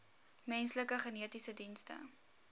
menslike genetiese dienste